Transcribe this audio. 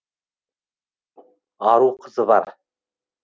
ару қызы бар